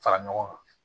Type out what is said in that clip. Fara ɲɔgɔn kan